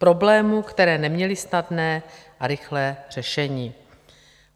Problémy, které neměly snadné a rychlé řešení.